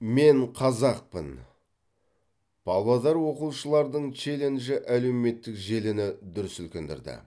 мен қазақпын павлодар оқушылардың челленджі әлеуметтік желіні дүр сілкіндірді